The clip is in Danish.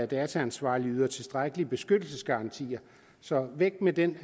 dataansvarlige yder tilstrækkelige beskyttelsesgarantier så væk med den